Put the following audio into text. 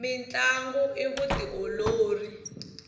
mintlangu i vutiolori